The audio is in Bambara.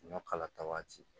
Sunjata waati